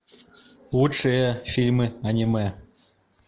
лучшие фильмы аниме